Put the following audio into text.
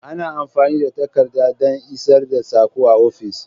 Ana amfani da takarda don isar da sako a ofis.